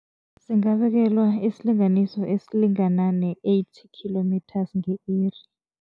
Singabekelwa isilinganiso esilingana ne-eight kilometres nge-iri.